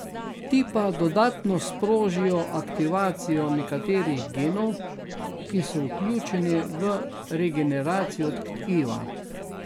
Ti pa dodatno sprožijo aktivacijo nekaterih genov, ki so vključeni v regeneracijo tkiva.